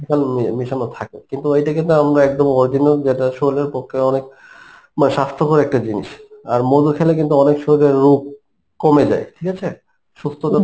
chemical মেশানো থাকে কিন্তু ঐদিকে তো আমরা একদম original যেটা শরীরের পক্ষ্যে অনেক মানে স্বাস্থ্যকর একটা জিনিস. আর মধু খেলে কিন্তু আমাদের শরীরে রোগ কমে যায় ঠিকাছে সুস্থতা